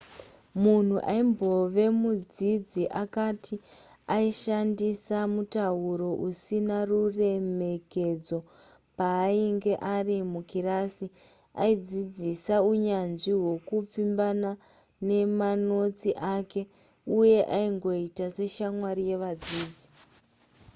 mumwe aimbove mudzidzi akati aishandisa mutauro usina ruremekedzo paainge ari mukirasi aidzidzisa unyanzvi hwekupfimbana mumanotsi ake uye aingoita seshamwari yevadzidzi